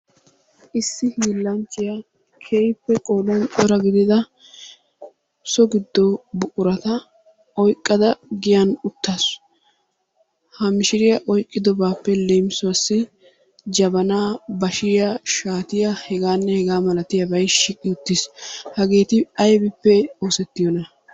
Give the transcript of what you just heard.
Issi hiilanchchiya keehippe qoodan cora gidida so giddo buqurata oyqqada giyan uttaasu. Ha mishiriya oyqqidoobappe leemisuwassi Jabanaa, bashiyaa, shaatiya, hegaanne hegaa malatiyabay shiiqi uttiis. Hageeti aybippe oosetiyoona?